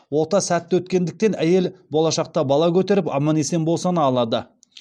ота сәтті өткендіктен әйел болашақта бала көтеріп аман есен босана алады